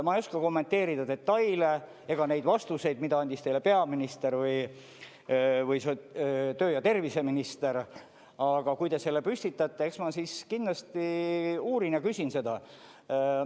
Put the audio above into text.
Ma ei oska kommenteerida detaile ega neid vastuseid, mida andis teile peaminister või tervise- ja tööminister, aga kui te selle püstitate, eks ma siis kindlasti uurin ja küsin seda.